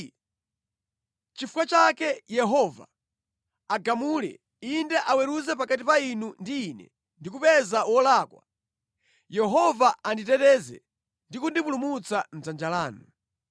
Nʼchifukwa chake Yehova agamule, inde aweruze pakati pa inu ndi ine ndi kupeza wolakwa. Yehova anditeteze ndi kundipulumutsa mʼdzanja lanu.”